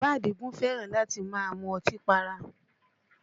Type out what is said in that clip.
Bàbá Àdìgún fẹ́ràn láti máa mú ọtí para